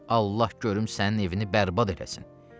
Allah görüm sənin evini bərbad eləsin.